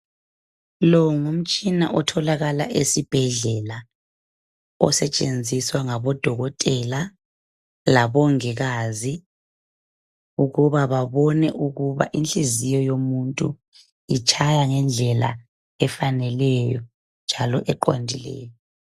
Lo ngumtshina otholakala esibhedlela, osetshenziswa ngabodokotela labongikazi ukuba babone ukuba inhliziyo yomuntu itshaya ngendlela efanelelyo njalo eqondileyo